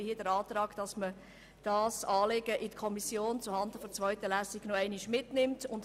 Deshalb stelle ich hier den Antrag, dieses Anliegen in der Kommission zurückzugeben, um es zuhanden der zweiten Lesung zu diskutieren.